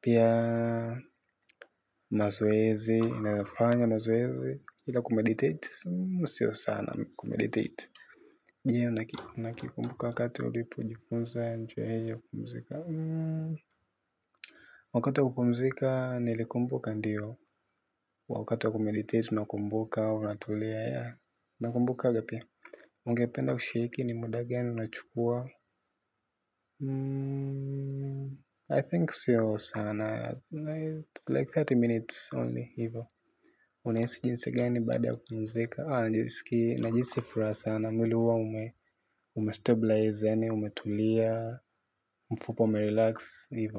Pia mazoezi, inaweza fanya mazoezi. Hila kumeditate, sio sana kumeditate je unakikumbuka wakati ulipo jifunza njia ya kumzika wakati wa kupumzika nilikumbuka ndio, wakati wa kumeditate unakumbuka unatulia yeah nakumbukanga pia, ungependa kushiriku ni muda gani unachukua I think siyo sana It's like thelathini minutes only hivo. Uahisi jinsi gani baada ya kupumzika. Niliski najihisui furaha sana. Mwili huwa ume umestabilize yaani umetulia. Mfupa ume relax ni.